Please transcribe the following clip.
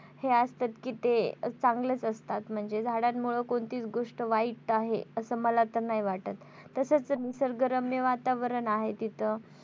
हे असतात कि ते चांगलेच असतात म्हणजे झाडांमुळे कोणतीच गोष्ट वाईट आहे असं मला तर नाही वाटत तसाच निसर्गरम्य वातावरण आहे. तिथं